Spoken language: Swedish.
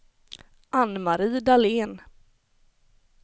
Anne-Marie Dahlén